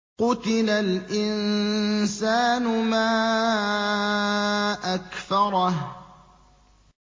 قُتِلَ الْإِنسَانُ مَا أَكْفَرَهُ